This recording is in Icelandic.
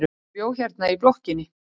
Hún bjó hérna í blokkinni.